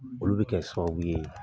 Olu bɛ kɛ sababu ye